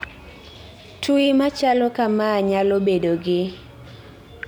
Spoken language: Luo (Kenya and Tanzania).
Twi machalo kamaa nyalo bedo gi